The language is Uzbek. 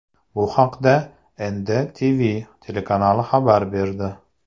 Bu haqda NDTV telekanali xabar berdi .